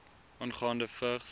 aangaande vigs